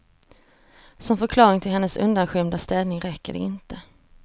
Som förklaring till hennes undanskymda ställning räcker det inte.